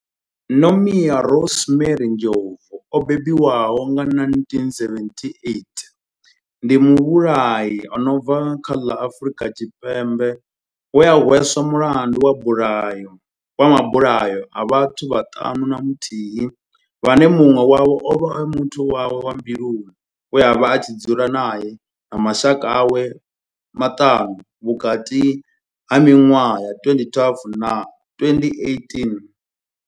Nomia Rosemary Ndlovu o bebiwaho nga 1978 ndi muvhulahi a no bva kha ḽa Afurika Tshipembe we a hweswa mulandu wa bulayo wa mabulayo a vhathu vhaṱanu na muthihi vhane munwe wavho ovha a muthu wawe wa mbiluni we avha a tshi dzula nae na mashaka awe maṱanu vhukati ha minwaha ya 2012 na 2018.